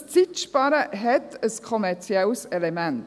Dieses Zeitsparen hat ein kommerzielles Element.